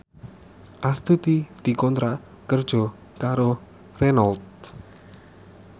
Astuti dikontrak kerja karo Renault